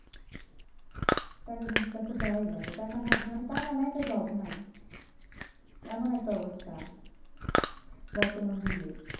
টাকা কিন্তু দেওয়াই লাগে টাকা না দিলে টাকা নাই তো Job নাই। এমন একটা অবস্থা বর্তমান যুগে।